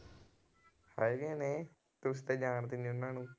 ਹੈਗੇ ਨੇ ਤੁਸੀਂ ਤਾਂ ਜਾਣਦੇ ਨੀ ਉਹਨਾਂ ਨੂੰ।